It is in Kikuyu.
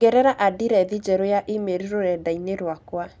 ongerera andirethi njerũ ya e-mail rũrenda-inĩ rwakwa